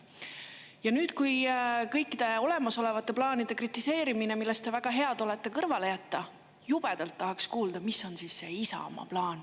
Ja nüüd, kui kõikide olemasolevate plaanide kritiseerimine, millest te väga head olete, kõrvale jätta, jubedalt tahaks kuulda, mis on siis see Isamaa plaan.